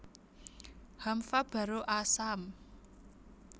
Haamva baro aasaam